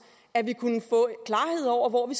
at vi kunne få klarhed over hvor vi